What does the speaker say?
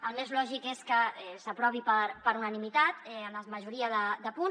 el més lògic és que s’aprovi per unani·mitat en la majoria de punts